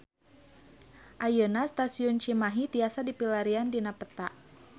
Ayeuna Stasiun Cimahi tiasa dipilarian dina peta